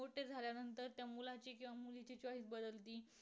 तर बि